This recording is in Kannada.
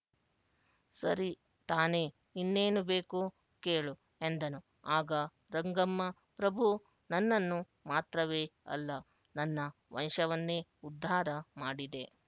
ಸರಿ ತಾನೆ ಇನ್ನೇನು ಬೇಕು ಕೇಳು ಎಂದನು ಆಗ ರಂಗಮ್ಮ ಪ್ರಭು ನನ್ನನ್ನು ಮಾತ್ರವೇ ಅಲ್ಲ ನನ್ನ ವಂಶವನ್ನೇ ಉದ್ಧಾರ ಮಾಡಿದೆ